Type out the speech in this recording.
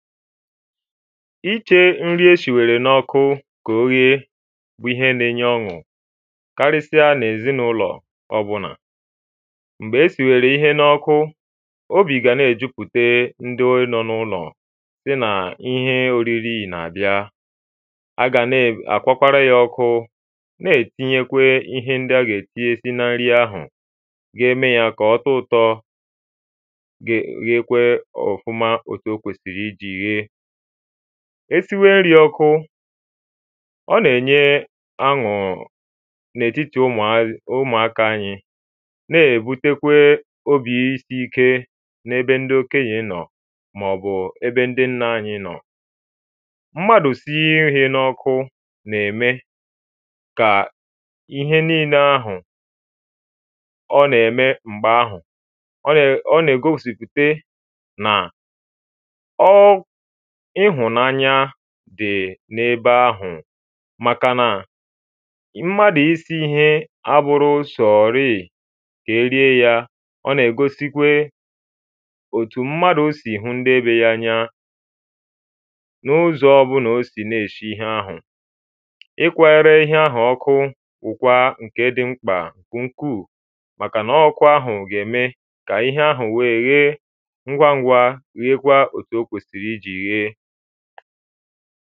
Iche ǹri e sìwèrè n’ọkụ kà o ghèè bụ̀ ihẹ nà-enye ọṅụ karịsịa n’èzinụlọ̀ ọ̀bụnà. m̀gbè e sìwèrè ihẹ n’ọkụ obī gà nà-èjupute ndị nọ n’ụlọ sị nà ihẹ oriri nà-àbịa. A gà nà-akwakwara ya ọkụ Nà-etinyekwee ihẹ ǹdị a ga-etinyesi na ǹri ahụ̀ ga-eme ya kà ọtọ ụ̀tọ̀ gaa gheekwaa ofumà òtù o kwèsìrì iji ghee e siwe ǹri ọkụ ọ nà-enye ọṅụ̀ n’etiti ụ̀mụ̀aka ànyị nà-èbutekwe obi isi ike n’ebe ǹdɪ okènyè nọ̀ maọbụ̀ ẹbẹ ǹdị ǹna ànyị nọ m̀madụ̀ sinye ihẹ n’ọkụ nà-èmè kà ihẹ niile ahụ̀ ọ nà-eme m̀gbè ahụ̀ ọ nà-egōsiputè nà ọ ịhụ̄nànya dị̀ n’ebe ahụ̀ màkànà m̀madụ̀ isi ihẹ abụghị sọ̄rị kà e rie ya ọ nà-egōsikwe òtù m̀madụ si hụ ǹdị be ya anya n’ụzọ ọ̀bụlà o sī nà-eshi ihẹ ahụ̀ ị kwayịrị ihẹ ahụ̀ ọkụ bụkwàà ǹke dị̀ m̀kpa ukʷuu màkànà ọ ọkụ ahụ̀ gà-eme kà ihẹ ahụ̀ wèè ghèè ǹgwa-ǹgwa ghekwaa òtù o kwēsìrì ijì ghèè